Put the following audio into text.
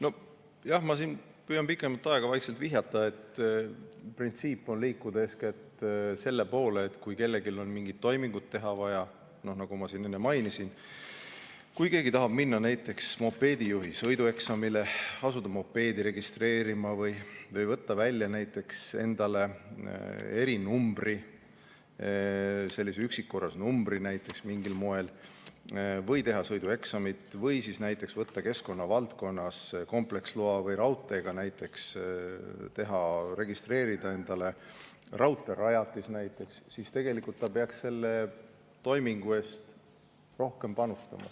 Nojah, ma püüan siin pikemat aega vaikselt vihjata, et printsiip on liikuda eeskätt selle poole, et kui kellelgi on mingid toimingud teha vaja – nagu ma enne mainisin, kui keegi tahab minna näiteks mopeedijuhi sõidueksamile, asuda mopeedi registreerima või võtta välja näiteks endale erinumbri, sellise üksikkorras numbri näiteks mingil moel, teha sõidueksamit või siis näiteks võtta keskkonna valdkonnas kompleksloa või registreerida endale raudteerajatis –, siis tegelikult ta peaks selle toimingu eest rohkem panustama.